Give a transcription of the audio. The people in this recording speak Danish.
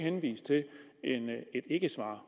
ikkesvar